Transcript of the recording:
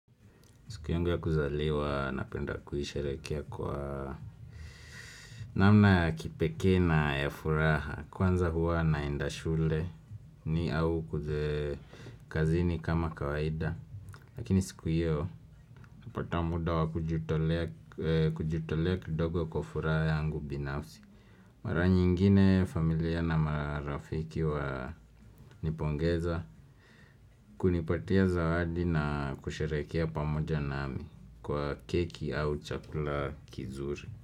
Siku yangu ya kuzaliwa napenda kuisherekea kwa namna ya kipekee na ya furaha. Kwanza huwa naenda shuleni au kazini kama kawaida. Lakini siku hiyo, napata muda wa kujitolea kidogo kwa furaha yangu binafsi. Mara nyingine familia na marafiki wananipongeza, kunipatia zawadi na kusharehekea pamoja nami. Kwa keki au chakula kizuri.